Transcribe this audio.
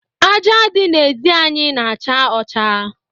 Ájá dị n'ezi anyị na-acha ọcha.